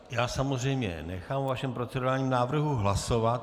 Já samozřejmě nechám o vašem procedurálním návrhu hlasovat.